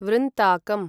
वृन्ताकम्